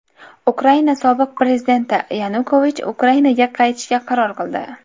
Ukraina sobiq prezidenti Yanukovich Ukrainaga qaytishga qaror qildi.